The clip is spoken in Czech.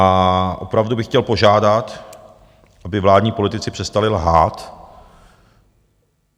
A opravdu bych chtěl požádat, aby vládní politici přestali lhát.